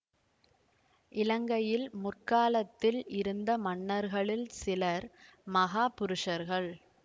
இலங்கையில் முற்காலத்தில் இருந்த மன்னர்களில் சிலர் மகா புருஷர்கள்